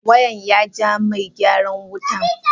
Wayan ya jaa Megyaran wutan.